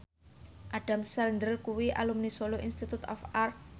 Adam Sandler kuwi alumni Solo Institute of Art